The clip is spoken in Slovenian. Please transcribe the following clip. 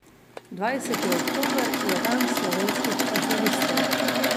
Dvajseti oktober je dan slovenskih arhivistov.